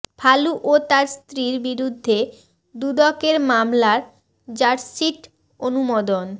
ফালু ও তার স্ত্রীর বিরুদ্ধে দুদকের মামলার চার্জশিট অনুমোদন